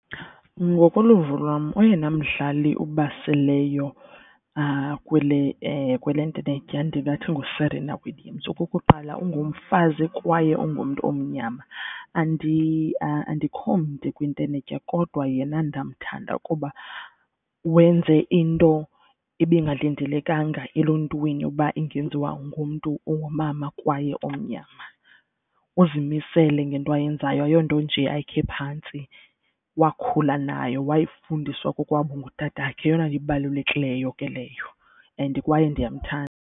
Ngokoluvo lwam oyena mdlali ubaseleyo kwele ntenetya ndingathi nguSerena Williams. Okukuqala, ungumfazi kwaye ungumntu omnyama. Andikho mde kwintenetya kodwa yena ndamthanda kuba wenze into ibingalindelekanga eluntwini uba ingenziwa ngumntu ongumama kwaye omnyama. Uzimisele ngento ayenzayo ayonto nje ayikhe phantsi, wakhula nayo wayifundiswa kokwabo ngutatakhe yeyona nto ibalulekileyo ke leyo and kwaye ndiyamthanda.